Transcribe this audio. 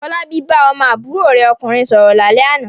Fọlábí bá ọmọ àbúrò rẹ̀ ọkùnrin sọ̀rọ̀ lálẹ́ àná.